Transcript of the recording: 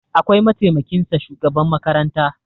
akwai mataimakinsa shugaban makaranta